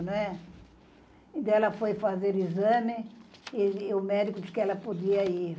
Né. Então, ela foi fazer exame e o médico disse que ela podia ir.